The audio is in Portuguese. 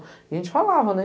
E a gente falava, né?